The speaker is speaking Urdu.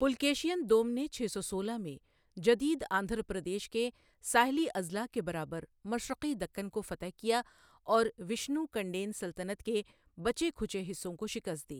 پلکیشین دوم نے چھ سو سولہ میں جدید آندھرا پردیش کے ساحلی اضلاع کے برابر مشرقی دکن کو فتح کیا اور وشنو کنڈین سلطنت کے بچے کھچے حصوں کو شکست دی۔